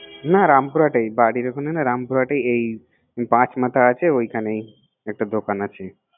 না রামপুরাতেইবাড়ির ওখানে না, রামপুরাতেও এই পাচ মাথা আছে ওইখানে একটা দোকান আছে